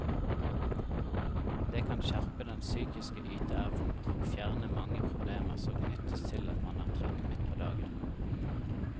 Det kan skjerpe den psykiske yteevnen og fjerne mange problemer som knyttes til at man er trett midt på dagen.